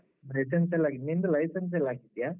ಮತ್ತೆಂತ ಇಲ್ಲ. ನಿಂದೆತ license ಎಲ್ಲ ಆಗಿದ್ಯಾ?